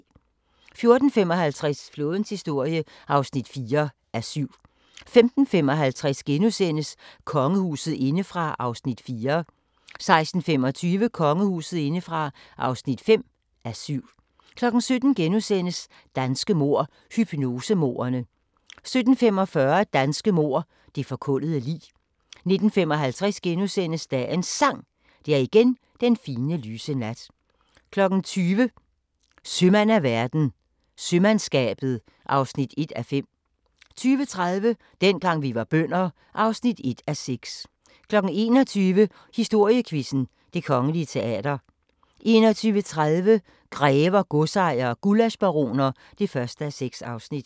14:55: Flådens historie (4:7) 15:55: Kongehuset indefra (4:7)* 16:25: Kongehuset indefra (5:7) 17:00: Danske mord – hypnosemordene * 17:45: Danske mord – Det forkullede lig 19:55: Dagens Sang: Det er igen den fine, lyse nat * 20:00: Sømand af verden – Sømandskabet (1:5) 20:30: Dengang vi var bønder (1:6) 21:00: Historiequizzen: Det Kongelige Teater 21:30: Grever, godsejere og gullaschbaroner (1:6)